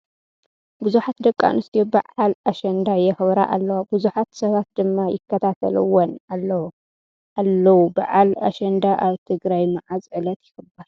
ብዙሓት ደቂ ኣንስትዮ በዓል ኣሸንዳ ይክብራ ኣለዋ ብዙሓት ሰባት ድማ ይከታተልውን ኣለዉ ። በዓል ኣሸንዳ ኣብ ትግራይ ምዓዘ ዕለት ይክበር ?